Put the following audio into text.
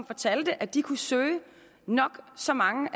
fortalte at de kunne søge nok så mange